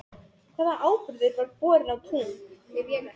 Hvaða áburður var borinn á tún?